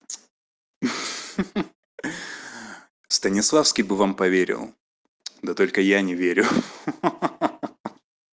ха-ха станиславский бы вам поверил да только я не верю ха-ха